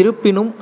இருப்பினும்,